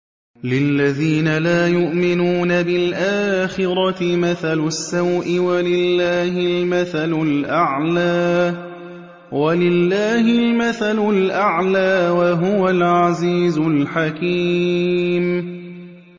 لِلَّذِينَ لَا يُؤْمِنُونَ بِالْآخِرَةِ مَثَلُ السَّوْءِ ۖ وَلِلَّهِ الْمَثَلُ الْأَعْلَىٰ ۚ وَهُوَ الْعَزِيزُ الْحَكِيمُ